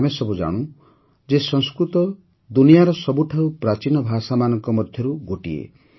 ଆମେ ସବୁ ଜାଣନ୍ତି ଯେ ସଂସ୍କୃତ ଦୁନିଆର ସବୁଠାରୁ ପ୍ରାଚୀନ ଭାଷାମାନଙ୍କ ମଧ୍ୟରୁ ଗୋଟିଏ